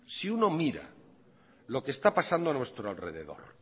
si uno mira lo que está pasando a nuestro alrededor